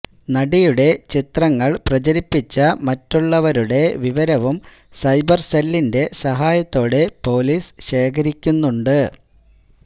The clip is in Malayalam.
നടിയുടെ ചിത്രങ്ങൾ പ്രചരിപ്പിച്ച മറ്റുള്ളവരുടെ വിവരവും സൈബർസെല്ലിന്റെ സഹായത്തോടെ പൊലീസ് ശേഖരിക്കുന്നുണ്ട്